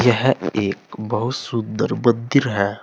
यह एक बहुत सुन्दर मन्दिर है।